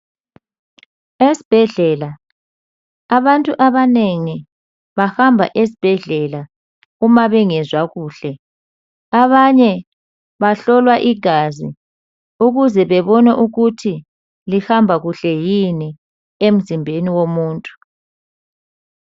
Esbhedlela abantu abanengi bahamba esbhedlela uma bengezwa kuhle. Abanye bahlolwa igazi ukuze bebone ukuthi lihamba kuhle yini emzimbeni womuntu.